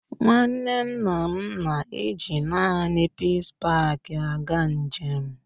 Nwanne nna m na èji naanị Peace Paak aga njem